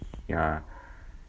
я